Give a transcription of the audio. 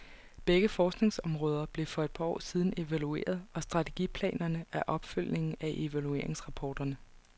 Begge forskningsområder blev for et par år siden evalueret, og strategiplanerne er opfølgning af evalueringsrapporterne.